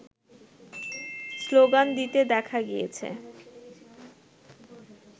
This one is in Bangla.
স্লোগান দিতে দেখা গিয়েছে